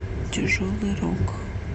тяжелый рок